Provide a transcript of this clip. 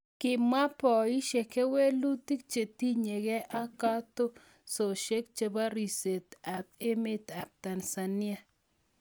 Komwa poishek kewelutik chetinye ge ak keteshoshek chebo ripset eng'emetap Tanzania